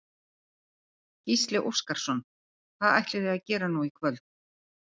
Gísli Óskarsson: Hvað ætlið þið að gera nú í kvöld?